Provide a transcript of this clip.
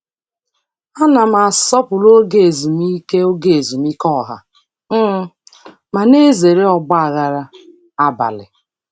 Ana m asọpụrụ oge ezumike oge ezumike ọha um ma na-ezere ọgba aghara abalị.